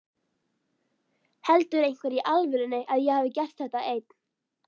Heldur einhver í alvörunni að ég hafi gert þetta einn?